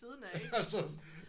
Ja sådan